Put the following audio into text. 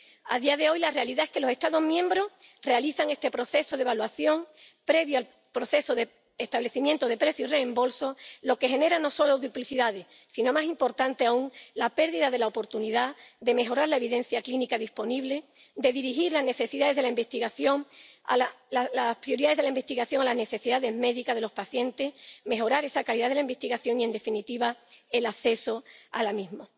A día de hoy, la realidad es que los Estados miembros realizan este proceso de evaluación previo al proceso de establecimiento de precio y reembolso, lo que genera no solo duplicidades, sino, lo que es más importante aún, la pérdida de la oportunidad de mejorar la evidencia clínica disponible, de dirigir las prioridades de la investigación a las necesidades médicas de los pacientes, de mejorar esa calidad de la investigación y, en definitiva, el acceso a la misma.